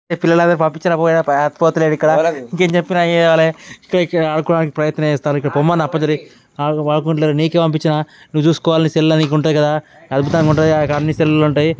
ఇప్పుడే పంపించిన పోయే పోతలేడు ఇక్కడ ఇంకేం చెప్పినా చేయాలే ఇక్కడ ఇక్కడ ఆడుకోవడానికి ప్రయత్నం చేస్తున్నారు ఇక్కడ పొమ్మన్న అప్పటినుంచెల్లి ఆడుకుంటలేరు నీకే పంపించిన నువ్వు చూసుకోవాలి సెల్ ల నీకు ఉంటది కదా అద్భుతంగా ఉంటది అని సెల్లులు ఉంటాయి.